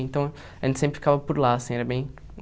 Então, a gente sempre ficava por lá, assim, era bem